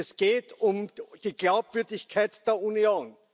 Es geht um die Glaubwürdigkeit der Union.